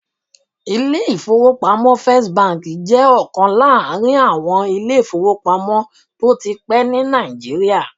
Ilé-ìfowópamọ́sí First jẹ́ ọ̀kan láàrin àwọn ilé-ìfowópamọ́sí tó ti pẹ́ ní Nàìjíríà